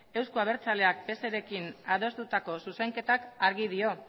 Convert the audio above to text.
euzko abertzaleak pserekin adostutako zuzenketak argi dio